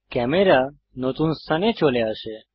camera নতুন স্থানে চলে আসে